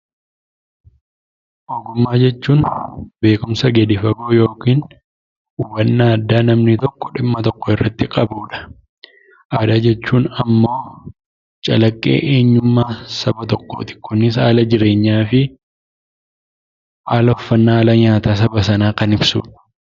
Ogummaa jechuun beekumsa gadi fagoo yookiin hubannaa addaa namni tokko dhimma tokko irratti qabuu dha. Aadaa jechuun immoo calaqee eenyummaa Saba tokkooti. Kunis haala jireenyaa fi haala uffanna saba Sanaa kan ibsuu dha.